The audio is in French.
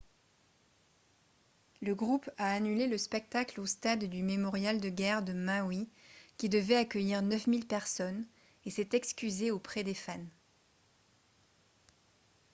le groupe a annulé le spectacle au stade du mémorial de guerre de maui qui devait accueillir 9 000 personnes et s’est excusé auprès des fans